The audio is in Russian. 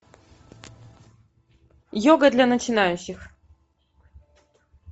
йога для начинающих